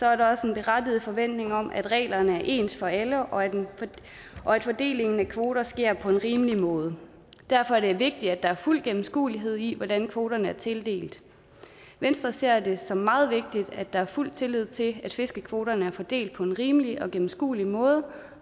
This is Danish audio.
er der også en berettiget forventning om at reglerne er ens for alle og og at fordelingen af kvoter sker på en rimelig måde derfor er det vigtigt at der er fuld gennemskuelighed i hvordan kvoterne er tildelt venstre ser det som meget vigtigt at der er fuld tillid til at fiskekvoterne er fordelt på en rimelig og gennemskuelig måde